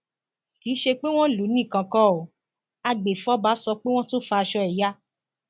kì í ṣe pé wọn lù ú nìkan kó agbèfọba sọ pé wọn tún fa aṣọ ẹ ya